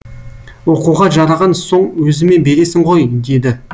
оқуға жараған соң өзіме бересің ғой деді